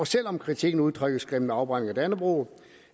selv om kritikken udtrykkes gennem afbrænding af dannebrog